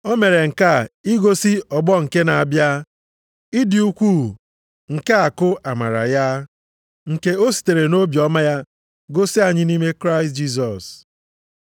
O mere nke a igosi ọgbọ nke na-abịa, ịdị ukwuu nke akụ amara ya, nke o sitere nʼobiọma ya gosi anyị nʼime Kraịst Jisọs.